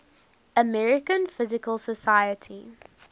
american physical society